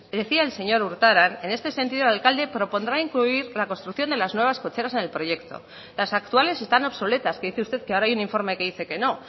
decía el señor urtaran en este sentido el alcalde propondrá incluir la construcción de las nuevas cocheras en el proyecto las actuales están obsoletas que dice usted que ahora hay un informe que dice que no